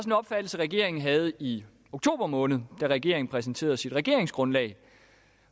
en opfattelse regeringen havde i oktober måned da regeringen præsenterede sit regeringsgrundlag